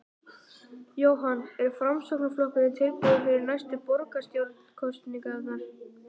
Jóhann: Er Framsóknarflokkurinn tilbúinn fyrir næstu borgarstjórnarkosningar?